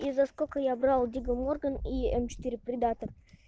и за сколько я брал диго морган и четыре придаток